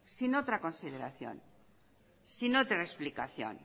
sin otra consideración sin otra explicación